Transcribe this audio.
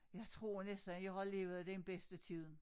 Jeg tror næsten jeg har levet den bedste tiden